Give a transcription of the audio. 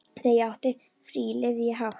Þegar ég átti frí lifði ég hátt.